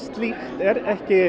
er ekki